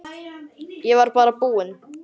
Ég var bara búinn.